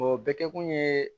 O bɛ kɛ kun ye